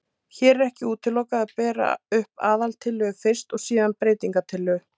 Hér er ekki útilokað að bera upp aðaltillögu fyrst og síðan breytingatillögu.